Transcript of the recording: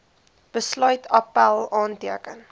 besluit appèl aanteken